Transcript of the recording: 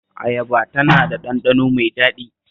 Ayaba tana da ɗanɗano mai daɗi